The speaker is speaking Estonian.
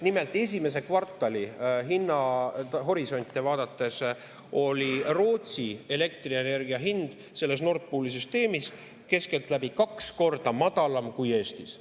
Nimelt, esimese kvartali hinnahorisonte vaadates oli Rootsi elektrienergia hind Nord Pooli süsteemis keskeltläbi kaks korda madalam kui Eestis.